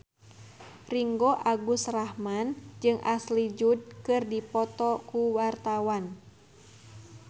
Ringgo Agus Rahman jeung Ashley Judd keur dipoto ku wartawan